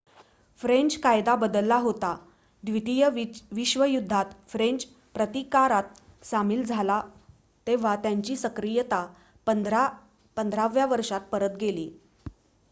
French कायदा बदलला होता द्वितीय विश्वयुद्धात फ्रेंच प्रतिकारात सामील झाला तेव्हा त्याची सक्रियता 15 व्या वर्षात परत गेली